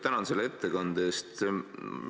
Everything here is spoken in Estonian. Tänan selle ettekande eest!